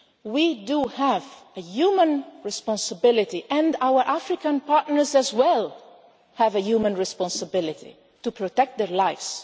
sink. We have a human responsibility and our African partners as well have a human responsibility to protect their